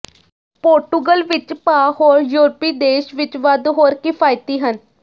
Portugal ਵਿੱਚ ਭਾਅ ਹੋਰ ਯੂਰਪੀ ਦੇਸ਼ ਵਿਚ ਵੱਧ ਹੋਰ ਕਿਫਾਇਤੀ ਹਨ